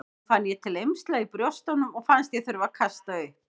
Nú fann ég til eymsla í brjóstunum og fannst ég þurfa að kasta upp.